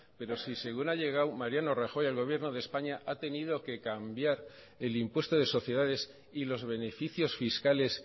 pero si según ha llegado mariano rajoy al gobierno de españa ha tenido que cambiar el impuesto de sociedades y los beneficios fiscales